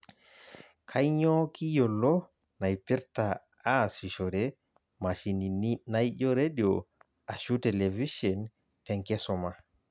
Kanyio kiyiolo naipirta aasishore mashinini naijo redio ashu televishen te nkisuma?